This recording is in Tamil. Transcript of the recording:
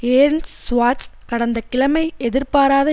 ஏர்ன்ட்ஸ் சுவார்ட்ஸ் கடந்த கிழமை எதிர்பாராத